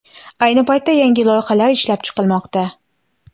Ayni paytda yangi loyihalar ishlab chiqilmoqda.